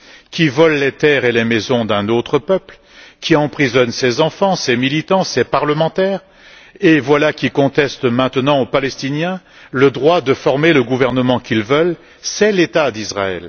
qui vole les terres et les maisons d'un autre peuple, qui emprisonne ses enfants, ses militants, ses parlementaires, et voilà qu'il conteste maintenant aux Palestiniens, le droit de former le gouvernement qu'ils veulent, c'est l'État d'Israël.